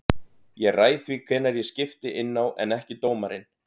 Ég ræð því hvenær ég skipti inná en ekki dómarinn.